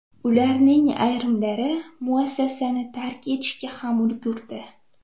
Ularning ayrimlari muassasani tark etishga ham ulgurdi.